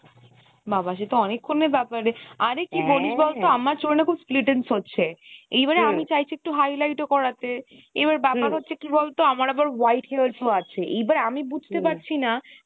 বাবা সে তো অনেক্ষন এর ব্যাপার রে আরে কী কি বলি বলতো আমার চুলে না এখন splittence হচ্ছে এইবারে আমি চাইছি একটু highlight ও করাতে এবার ব্যাপার হচ্ছে কী বলতো আমার আবার white hairs ও আছে এইবার আমি বুঝতে পারছি না